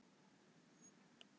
Tekur við af föður sínum